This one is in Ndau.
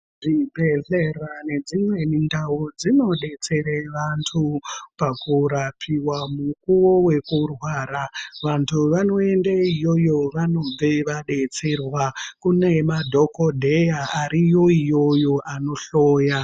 Zvibhedhlera nedzimweni ndau dzinodetsera vantu pakurapiwa mukuwo wekurwara. Vantu vanoende iyoyo vanobveyo vadetserwa. Kune madhokodheya ariyo iyoyo anohloya.